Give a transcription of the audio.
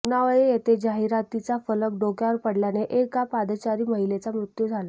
पुनावळे येथे जाहिरातीचा फलक डोक्यावर पडल्याने एका पादचारी महिलेचा मृत्यू झाला